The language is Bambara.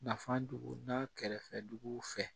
Nafan donna kɛrɛfɛ dugu fɛ